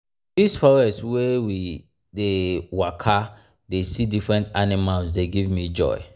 dis forest wey we forest wey we dey waka dey see different animals dey give me joy.